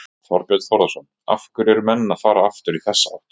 Þorbjörn Þórðarson: Af hverju eru menn að fara aftur í þessa átt?